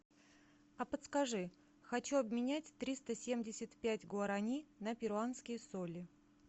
а подскажи хочу обменять триста семьдесят пять гуарани на перуанские соли